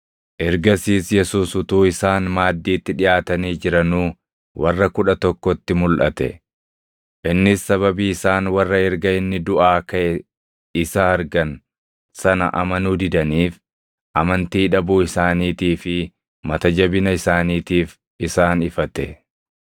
Ergasiis Yesuus utuu isaan maaddiitti dhiʼaatanii jiranuu warra Kudha Tokkotti mulʼate; innis sababii isaan warra erga inni duʼaa kaʼe isa argan sana amanuu didaniif, amantii dhabuu isaaniitii fi mata jabina isaaniitiif isaan ifate.